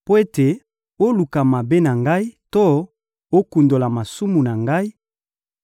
mpo ete oluka mabe na ngai to okundola masumu na ngai,